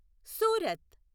Surat